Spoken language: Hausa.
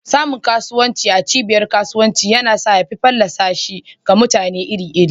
Samun kasuwancin ku a cibiyar kasuwanci yana sa ya fi fallasa shi ga mutane iri-iri.